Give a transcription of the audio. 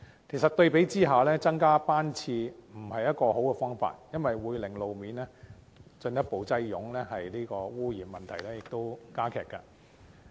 其實，相比之下，增加班次不是一個好方法，因為會令路面進一步擠塞，污染問題亦會加劇。